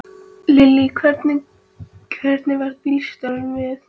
Lillý: Hvernig varð bílstjóranum við?